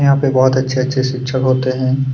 यहाँ पे बहुत अच्छे-अच्छे शिक्षक होते हैं।